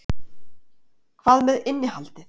Hvað með innihaldið?